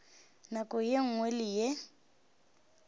nako ye nngwe le ye